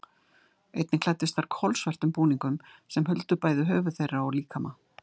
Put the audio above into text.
Einnig klæddust þær kolsvörtum búningum sem huldu bæði höfuð þeirra og líkama.